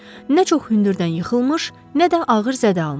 Nə çox hündürdən yıxılmış, nə də ağır zədə almışdı.